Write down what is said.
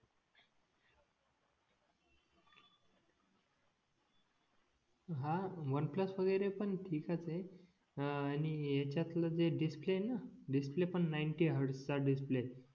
हां OnePlus वगैरे पण ठिकाणाचं आहे हां आणि ह्यांच्यातल जे डिस्प्ले आहेना डिस्प्ले पण नाईंटी हॅर्डचा डिस्प्ले